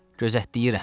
Gözləyirəm.